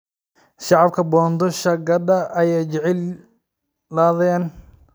Shacabka Bondo shagadha aya jecladhen.